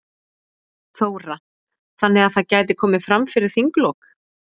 Þóra: Þannig að það gæti komið fram fyrir þinglok?